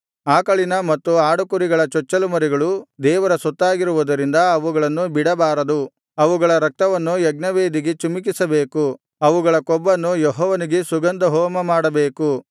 ಆಕಳಿನ ಮತ್ತು ಆಡುಕುರಿಗಳ ಚೊಚ್ಚಲುಮರಿಗಳು ದೇವರ ಸೊತ್ತಾಗಿರುವುದರಿಂದ ಅವುಗಳನ್ನು ಬಿಡಬಾರದು ಅವುಗಳ ರಕ್ತವನ್ನು ಯಜ್ಞವೇದಿಗೆ ಚಿಮುಕಿಸಿಬೇಕು ಅವುಗಳ ಕೊಬ್ಬನ್ನು ಯೆಹೋವನಿಗೆ ಸುಗಂಧಹೋಮಮಾಡಬೇಕು